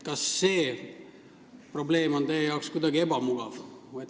Kas see probleem on teie jaoks kuidagi ebamugav?